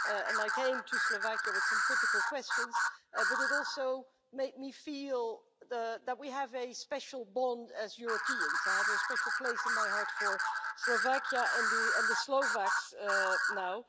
and I went to Slovakia with some critical questions, but it also made me feel that we have a special bond as Europeans. I have a special place in my heart for Slovakia and the Slovaks now.